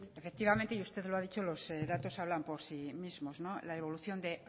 efectivamente y usted lo ha dicho los datos hablan por sí mismos la evolución de